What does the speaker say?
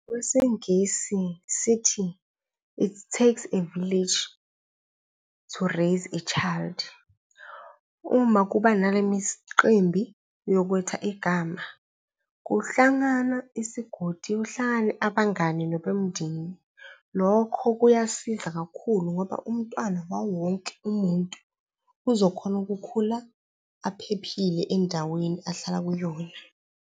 KweSingisi sithi, it's takes a village to raise a child. Uma kuba nale miqimbi yokwetha igama, kuhlangana isigodi, kuhlangane abangani nabomndeni. Lokho kuyasiza kakhulu ngoba umntwana wawonke umuntu uzokhona ukukhula aphephile endaweni ahlala kuyona.